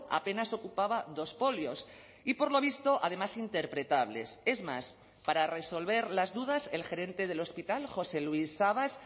apenas ocupaba dos folios y por lo visto además interpretables es más para resolver las dudas el gerente del hospital josé luis sabas